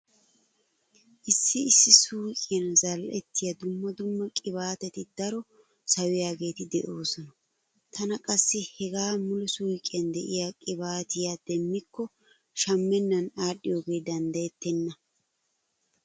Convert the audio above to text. Issi issi suuqiyan zal"ettiya dumma dumma qibaateti daro sawiyaageeti de'oosona. Tana qassi hegaa mala suuqiyan diya qibaatiya demmikko shammennan aadhdhiyoge danddayettenna.